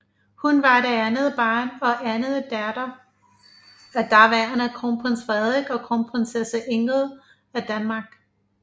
Hun var det andet barn og anden datter af daværende Kronprins Frederik og Kronprinsesse Ingrid af Danmark